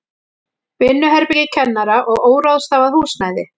Vinnuherbergi kennara og óráðstafað húsnæði.